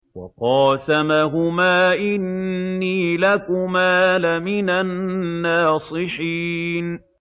وَقَاسَمَهُمَا إِنِّي لَكُمَا لَمِنَ النَّاصِحِينَ